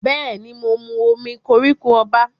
Bẹ́ẹ̀ ni, mo mu omí koríko ọba.